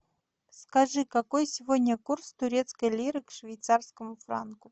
скажи какой сегодня курс турецкой лиры к швейцарскому франку